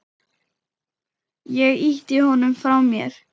Ég ýtti honum frá mér.